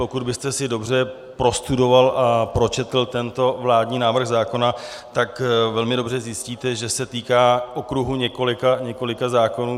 Pokud byste si dobře prostudoval a pročetl tento vládní návrh zákona, tak velmi dobře zjistíte, že se týká okruhu několika zákonů.